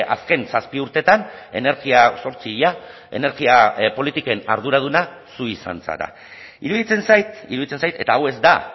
azken zazpi urteetan energia zortzi ia energia politiken arduraduna zu izan zara iruditzen zait iruditzen zait eta hau ez da